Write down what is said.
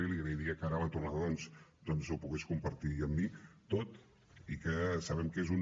i li agrairia que ara a la tornada doncs ho pogués compartir amb mi tot i que sabem que és un